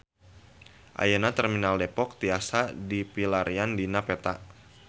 Ayeuna Terminal Depok tiasa dipilarian dina peta